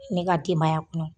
ne ka denbaya kun